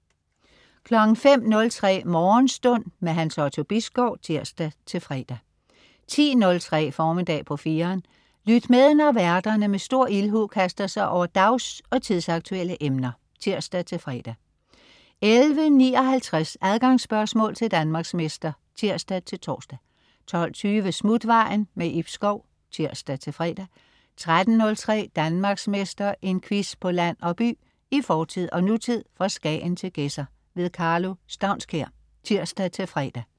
05.03 Morgenstund . Hans Otto Bisgaard (tirs-fre) 10.03 Formiddag på 4'eren. Lyt med, når værterne med stor ildhu kaster sig over dags- og tidsaktuelle emner (tirs-fre) 11.59 Adgangsspørgsmål til Danmarksmester (tirs-tors) 12.20 Smutvejen. Ib Schou (tirs-fre) 13.03 Danmarksmester. En quiz på land og by, i fortid og nutid, fra Skagen til Gedser. Karlo Staunskær (tirs-fre)